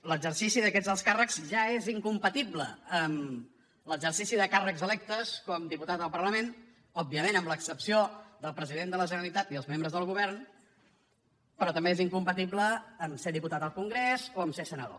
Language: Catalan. l’exercici d’aquests alts càrrecs ja és incompatible amb l’exercici de càrrecs electes com a diputat al parlament òbviament amb l’excepció del president de la generalitat i els membres del govern però també és incompatible a ser diputat al congrés o a ser senador